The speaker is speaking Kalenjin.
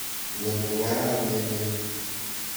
Ngot ko kararan emet.